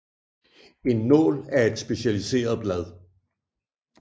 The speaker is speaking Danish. En nål er et specialiseret blad